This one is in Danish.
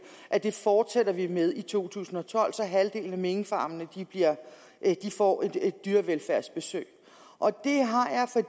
at det fortsætter vi med i to tusind og tolv så halvdelen af minkfarmene får et dyrevelfærdsbesøg